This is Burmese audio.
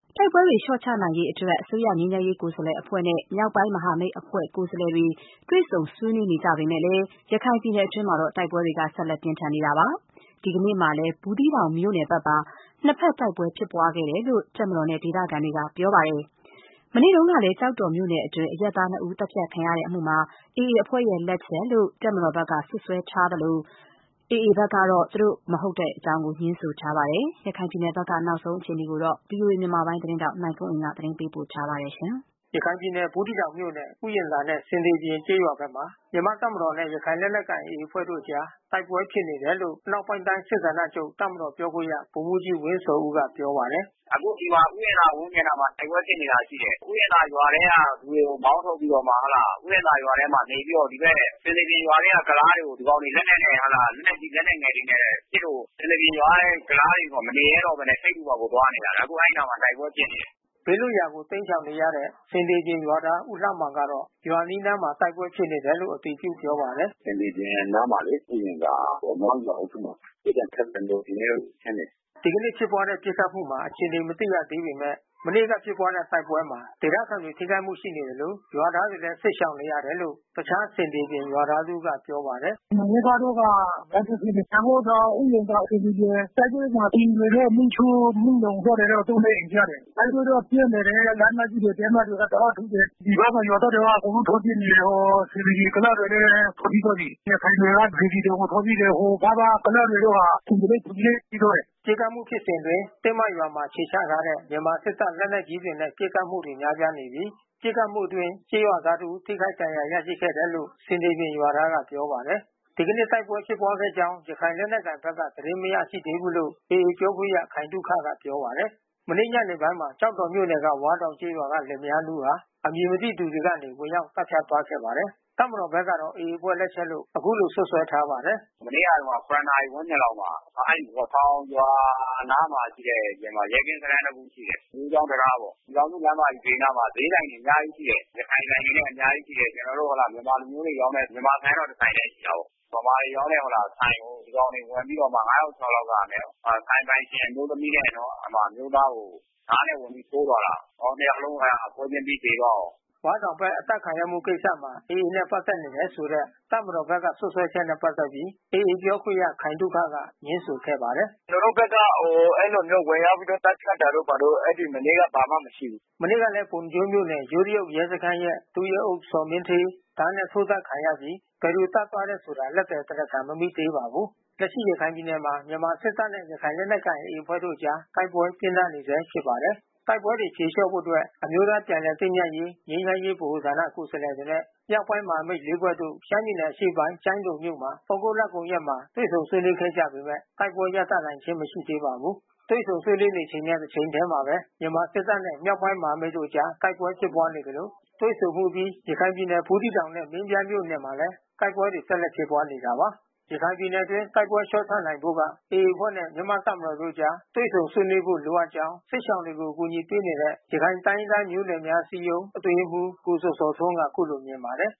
တိုက်ပွဲတွေ လျှော့ချနိုင်ရေးအတွက် အစိုးရငြိမ်းချမ်းရေး ကိုယ်စားလှယ်အဖွဲ့နဲ့ မြောက်ပိုင်းမဟာမိတ်အဖွဲ့ ကိုယ်စားလှယ်တို့ တွေ့ဆုံဆွေးနွေးနေပေမဲ့လည်း ရခိုင်ပြည်နယ်အတွင်းမှာတော့ တိုက်ပွဲဖြစ်ပွားနေဆဲပါ။ ဒီကနေ့မှာလည်း ဘူးသီးတောင်မြို့နယ်ဘက်မှာ နှစ်ဘက် တိုက်ပွဲဖြစ်ပွားခဲ့တယ်လို့ တပ်မတော်နဲ့ ဒေသခံတွေက ပြောပါတယ်။ မနေ့ကလည်း ကျောက်တော်မြို့နယ်အတွင်း အရပ်သား နှစ်ဦး သတ်ဖြတ်ခံရမှုမှာ AA အဖွဲ့လက်ချက်လို့ တပ်မတော်က စွပ်စွဲထားသလို AA ဘက်ကတော့ သူတို့ အဖွဲ့မဟုတ်ကြောင်း ငြင်းဆိုထားပါတယ်။ အပြည့်အစုံကို ဗွီအိုအေသတင်းထောက် နိုင်ကွန်းအိန်ကနေ သတင်းပေးပို့ထားပါတယ်။ ရခိုင်ပြည်နယ် ဘူးသီးတောင်မြို့နယ် ဥယျာဉ်သာနဲ့ ဆင်သေပြင်ကျေးရွာဘက်မှာ မြန်မာတပ်မတော်နဲ့ ရခိုင်လက်နက်ကိုင် AA အဖွဲ့ တို့အကြားတိုက်ပွဲဖြစ်နေတယ်လို့ အနောက်ပိုင်းတိုင်း စစ်ဌာနချုပ် တပ်မတော်ပြောခွင့်ရ ဗိုလ်မှူးကြီး ဝင်းဇော်ဦးက ပြောပါတယ်။ “အခုဒီမှာ ဥယျာဉ်သာ ရွာဝန်းကျင်မှာ တိုက်ပွဲဖြစ်နေတာ ရှိတယ်။ ဥယျာဉ်သာရွာထဲက လူတွေကို မောင်းထုတ်ပြီးတော့မှ ဥယျာဉ်သာရွာထဲ နေပြီးတော့ ဒီဘက် ဆင်သေပြင်ရွာထဲက ကုလားတွေကို ဒီကောင်တွေက လက်နက်နဲ့ လက်နက်ကြီး၊ လက်နက်ငယ်တွေနဲ့ ပစ်လို့ ဆင်သေပြင် ရွာထဲက ကုလားတွေ မနေရဲတော့ဘဲနဲ့ ထိပ်တူးပေါက်ကို သွားနေရတာ။ အခု အဲဒီနားမှာ တိုက်ပွဲ ဖြစ်နေတယ်။" ဘေးလွတ်ရာကို တိမ်းရှောင်နေရတဲ့ ဆင်သေပြင် ရွာသားဦးလှမောင်က ရွာအနီးနားမှာ တိုက်ပွဲဖြစ်နေတယ်လို့ အတည်ပြုပြောပါတယ်။ “ဆင်သေပြင်နားမှာလေ။ ဥယျာဉ်သာ နွားရုံတောင်အုပ်စုမှာ။ ပစ်သံခတ်သံတော့ ဒီနေ့တော့ ပြင်းတယ်။” ဒီကနေ့ ဖြစ်ပွားတဲ့ ပစ်ခတ်မှုမှာ အခြေအနေ မသိရသေးပေမဲ့ မနေ့က ဖြစ်ပွားတဲ့တိုက်ပွဲမှာ ဒေသခံတွေ ထိခိုက်မှုရှိနေသလို ရွာသားတွေလည်း စစ်ရှောင်နေရတယ်လို့ တခြားဆင်သေပြင်ရွာသား တဦးက ပြောပါတယ်။ “မနက်ကတော့က တိုက်ပွဲဖြစ်နေတာ။ စံဂိုးထောင် ဥယျာဉ်သာ ဆင်သေပြင်။ တိုက်ပွဲမှာ အိမ်တွေတော့ မီးရှို့ မီးလောင် သွားတယ်တော့ သုံး၊ လေး အိမ်ကျတယ်။ တိုက်ပွဲတော့ ပြင်းနေတယ်။ လက်နက်ကြီးတွေ တင်းမတွေက တအားထုတယ်။ ဒီဘက်က ရွာသားတွေက အကုန်လုံး ထွက်ပြေးနေတယ်။ ဆင်သေပြင်ကုလားတွေလည်း ထွက်ပြေးသွားပြီ။ ရခိုင်တွေက စေတီတောင်ကို ထွက်ပြေးတယ်။ ဟိုဘက်က ကုလားတွေတော့ ဖုန်ညိုလိတ် ထွက်ပြေးတယ်။” တိုက်ပွဲဖြစ်ပွားနေစဉ် တင်းမရွာမှာ အခြေချထားတဲ့ မြန်မာစစ်တပ ်လက်နက်ကြီးတွေနဲ့ ပစ်ခတ်မှုတွေ များပြားနေပြီး ပစ်ခတ်မှုအတွင်း ကျေးရွာသား တဦး ထိခိုက်ဒဏ်ရာ ရရှိခဲ့တယ်လို့ ဆင်သေပြင်ရွာသားက ပြောပါတယ်။ ဒီကနေ့ တိုက်ပွဲဖြစ်ပွားခဲ့ကြောင်း ရခိုင်လက်နက်ကိုင်ဘက်က သတင်းမရရှိသေးဘူးလို့ AA ပြောခွင့်ရ ခိုင်သုခက ပြောပါတယ်။ မနေ့ညနေပိုင်းမှာကျောက်တော်မြို့နယ်၊ ဝါးတောင်ကျေးရွာက လင်မယား နှစ်ဦးဟာ အမည်မသိသူတွေကနေ ဝင်ရောက် သတ်ဖြတ်သွားခဲ့ပါတယ်။ တပ်မတော်ဘက်ကတော့ AA အဖွဲ့လက်ချက်လို့ အခုလို စွပ်စွဲထားပါတယ်။ “မနေ့ညတုန်းက ၇ နာရီဝန်းကျင်လောက်မှာ အဲဒီဝါးတောင်ရွာအနားမှာရှိတဲ့ ရဲကင်းစခန်း တခု ရှိတယ်။ ယိုးချောင်းတံတားပေါ့။ ပြည်ထောင်စုလမ်းမဘေးမှာ ဈေးဆိုင်တွေ အများကြီးရှိတယ်။ ရခိုင်ဆိုင်တွေလည်း အများကြီး ရှိတယ်။ ကျနော်တို့ မြန်မာလူမျိုးတွေ ရောင်းတဲ့ မြန်မာဆိုင်တော့ တဆိုင်ထဲ ရှိတာပေါ့။ ဗမာတွေရောင်းတဲ့ ဆိုင်ကို ဒီကောင်တွေ ဝင်ပြီးတော့မှ ငါးယောက် ခြောက်ယောက်လောက်က ဆိုင်ပိုင်ရှင် အမျိုးသမီးနဲ့ အမျိုးသားကို ဒါးနဲ့ဝင်ပြီးထ ိုးသွားတာ။ နှစ်ယောက်လုံး ပွဲခြင်းပြီး သေသွားရော။” ဝါးတောင်ဘက် အသတ်ခံရမှုကိစ္စမှာ AA နဲ့ ပတ်သက်နေတယ်ဆိုတဲ့ တပ်မတော်ဘက်က စွပ်စွဲချက် နဲ့ပက်သက်ပြီး AA ပြောခွင့်ရခိုင်သုခက ငြင်းဆိုခဲ့ပါတယ်။ “ကျနော်တို့ဘက်က အဲဒီလိုမျိုး ဝင်ရောက်သတ်ဖြတ်တာတို့ ဘာတို့ အဲနေ့က ဘာမှမရှိဘူး။” မနေ့ကလည်းပုဏ္ဏားကျွန်းမြို့နယ် ယိုးတရုတ်ရဲစခန်းရဲ့ ဒုရဲအုပ်ဇော်မင်းဌေးဒါးနဲ့ ထိုးသတ်ခံရပြီး ဘယ်သူသတ်သွားတယ်ဆိုတာ လက်သည်တရားခံ မမိသေးပါဘူး။ လက်ရှိရခိုင်ပြည်နယ်မှာ မြန်မာစစ်တပ်နဲ့ ရခိုင်လက်နက်ကိုင် AA အဖွဲ့တို့အကြား တိုက်ပွဲပြင်းထန်နေဆဲ ဖြစ်ပါတယ်။ တိုက်ပွဲတွေဖြေလျှာ့ဖို့အတွက် အမျိုးသားပြန်လည်သင့်မြတ်ရေး ငြိမ်းချမ်းရေးဗဟိုဌာန ကိုယ်စားလှယ်တွေနဲ့ မြောက်ပိုင်းမဟာမိတ် အဖွဲ့ လေး ဖွဲ့တို့ ရှမ်းပြည်နယ်အရှေ့ပိုင်း ကျိုင်းတုန်မြို့မှာ သြဂုတ်လကုန်ရက်မှာ တွေ့ဆုံဆွေးနွေးခဲ့ကြပေမဲ့ တိုက်ပွဲရပ်တန့်နိုင်ခြင်း မရှိသေးပါဘူး။ တွေ့ဆုံဆွေးနွေးနေချိန်နဲ့ တချိန်ထဲမှာပဲ မြန်မာစစ်တပ်နဲ့ မြောက်ပိုင်းမဟာမိတ်တို့အကြား တိုက်ပွဲဖြစ်ပွားနေသလို တွေ့ဆုံမှုအပြီး ရခိုင်ပြည်နယ်ဘူးသီးတောင်နဲ့ မင်းပြားမြို့နယ်မှာလည်း တိုက်ပွဲတွေ ဆက်လက်ဖြစ်ပွားနေတာပါ။ ရခိုင်ပြည်နယ်အတွင်း တိုက်ပွဲလျှော့ချနိုင်ဖို့က AA အဖွဲ့နဲ့ မြန်မာတပ်မတော်တို့အကြား တွေ့ဆုံဆွေးနွေးဖို့ လိုအပ်ကြောင်း စစ်ရှောင်တွေကို အကူညီပေးနေတဲ့ ရခိုင်တိုင်းရင်းသားမျိုးနွယ်များ အစည်းအရုံးအတွင်းရေးမှူး ကိုဇော်ဇော်ထွန်းက အခုလိုမြင်ပါတယ်